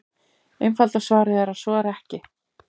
Einfalda svarið er að svo er ekki.